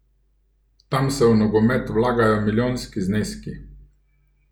Tam se v nogomet vlagajo milijonski zneski.